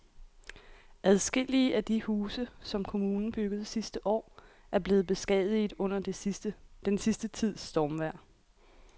Adskillige af de huse, som kommunen byggede sidste år, er blevet beskadiget under den sidste tids stormvejr.